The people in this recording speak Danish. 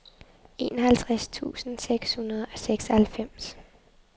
enoghalvtreds tusind seks hundrede og seksoghalvfems